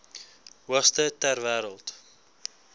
hoogste ter wêreld